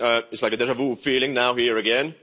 It's like a déjà vu feeling now here again.